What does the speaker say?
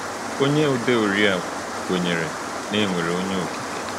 Onye odeuri a kwenyere na e nwere Onye Okike.